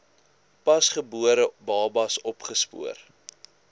pasgebore babas opgespoor